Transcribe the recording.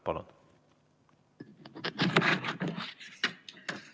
Palun!